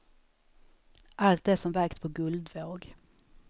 Allt är som vägt på guldvåg.